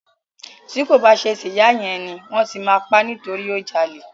Ti ko ba ṣe ti ìyá yẹn ni, wọn ti ma pa nitori o jalè.